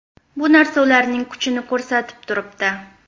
Bu narsa ularning kuchini ko‘rsatib turibdi.